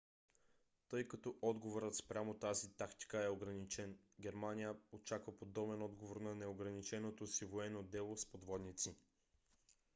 тъй като отговорът спрямо тази тактика е ограничен германия очаква подобен отговор на неограниченото си военно дело с подводници